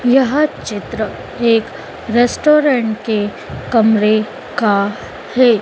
यह चित्र एक रेस्टोरेंट के कमरे का है।